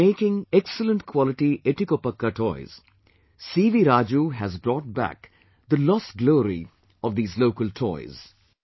By making excellent quality etikoppakaa toys C V Raju has brought back the lost glory of these local toys